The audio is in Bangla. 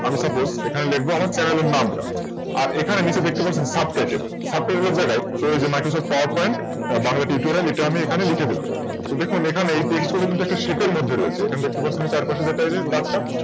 আমি Supose লিখব আমার Channel এর নামটা আর এখানে নিচে দেখতে পাচ্ছেন Subtittle এর জায়গায় প্রয়োজ MicrosoftPowerPoint বাংলা Tutorial এটা আমি এখানে লিখে দিলাম। তো দেখুন এখানে Text গুলো কিন্তু একটা Shape এর মধ্যে রয়েছে। এবার চারপাশে টেনে নিয়ে দাগটা